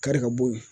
Kari ka bo yen